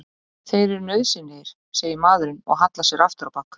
Þeir eru nauðsynlegir, segir maðurinn og hallar sér aftur á bak.